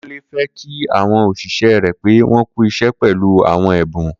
Kunle fè kí awọn óṣiṣẹ rè pé wọn kù iṣẹ pẹlú awọn ẹbún